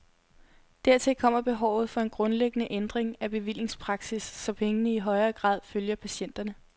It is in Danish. Dertil kommer behovet for en grundlæggende ændring af bevillingspraksis, så pengene i højere grad følger patienterne.